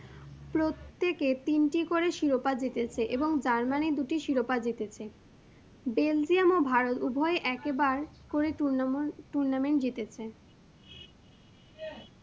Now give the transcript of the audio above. প্রত্যেকে তিনটি করে শিরোপা জিতেছে এবং Germany দুটি শিরোপা জিতেছে। Belgium ও ভারত উভয়ে একবার করে tournament জিতেছে।